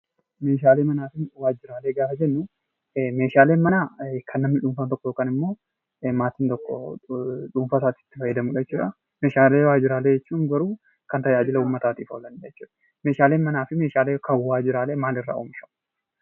Meeshaalee manaa fi waajjiraalee gaafa jennuu meeshaaleen manaa kan namni dhuunfaan tokko yookan immoo maatin tokko dhuunfaaasaatti itti fayyadamudha jechuudha. Meeshaalee waajjiraalee jechuun garuu kan tajaajila uummataatif oolanidha jechuudha. Meeshaaleen manaa fi meeshaaleen kan waajjiraalee maalirraati oomishamu?